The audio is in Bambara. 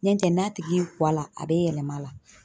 N'ɛ tɛ n'a tigi y'i kɔ a la, a be yɛlɛma la.